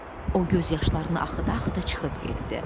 O göz yaşlarını axıda-axıda çıxıb getdi.